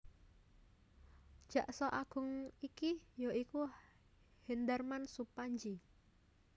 Jaksa Agung wektu iki ya iku Hendarman Supandji